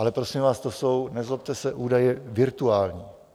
Ale prosím vás, to jsou, nezlobte se, údaje virtuální.